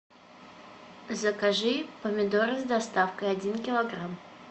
закажи помидоры с доставкой один килограмм